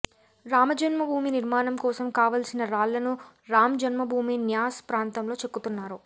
రామ జన్మభూమి నిర్మాణం కోసం కావాల్సిన రాళ్లను రామ్ జన్మభూమి న్యాస్ ప్రాంతంలో చెక్కుతున్నారు